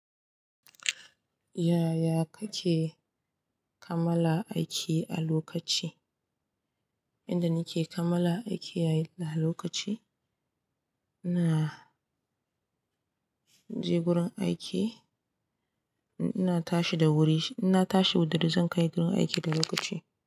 Yaya kake kamala aiki a lokaci? Inda nike kamala aiki a lokaci, ina je gurin aiki, ina tashi da wuri, ina tashi da dare zan kai gurin aiki da lokaci.